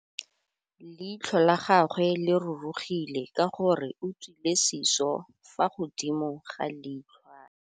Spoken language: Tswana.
Leitlhô la gagwe le rurugile ka gore o tswile sisô fa godimo ga leitlhwana.